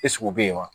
u bɛ yen wa